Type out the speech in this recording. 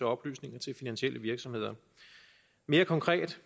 oplysninger til finansielle virksomheder mere konkret